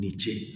Ni ce